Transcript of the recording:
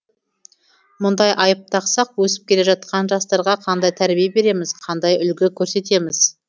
мұндай айып тақсақ өсіп келе жатқан жастарға қандай тәрбие береміз қандай үлгі көрсетеміз